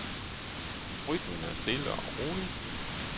Rytmen er stille og rolig.